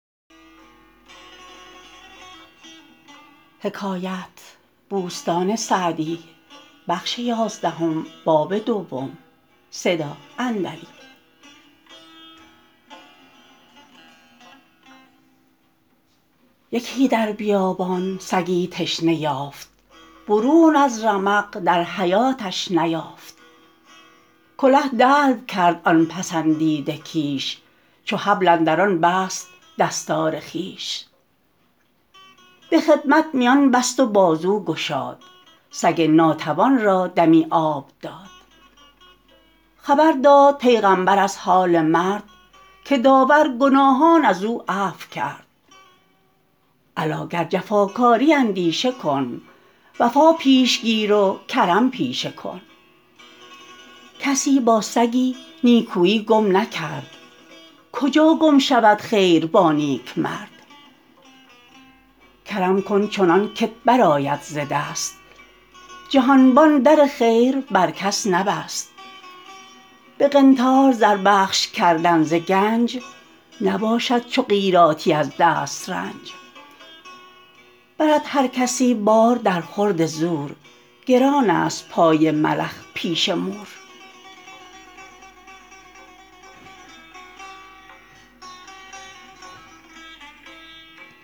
یکی در بیابان سگی تشنه یافت برون از رمق در حیاتش نیافت کله دلو کرد آن پسندیده کیش چو حبل اندر آن بست دستار خویش به خدمت میان بست و بازو گشاد سگ ناتوان را دمی آب داد خبر داد پیغمبر از حال مرد که داور گناهان از او عفو کرد الا گر جفاکاری اندیشه کن وفا پیش گیر و کرم پیشه کن کسی با سگی نیکویی گم نکرد کجا گم شود خیر با نیکمرد کرم کن چنان که ت برآید ز دست جهانبان در خیر بر کس نبست به قنطار زر بخش کردن ز گنج نباشد چو قیراطی از دسترنج برد هر کسی بار در خورد زور گران است پای ملخ پیش مور